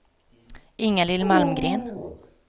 Ingalill Malmgren